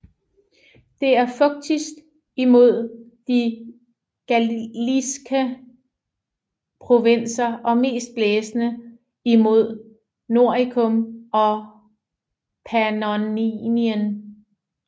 Det er fugtigst imod De galliske Provinser og mest blæsende imod Noricum og Pannonien